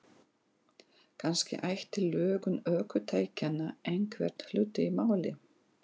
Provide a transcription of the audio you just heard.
Kannski ætti lögun ökutækjanna einhvern hlut að máli.